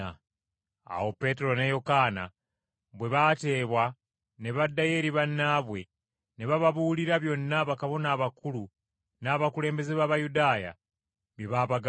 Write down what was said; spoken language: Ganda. Awo Peetero ne Yokaana bwe baateebwa ne baddayo eri bannaabwe ne bababuulira byonna bakabona abakulu n’abakulembeze b’Abayudaaya bye baabagamba.